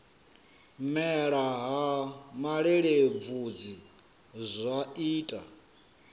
mela ha malelebvudzi zwa ita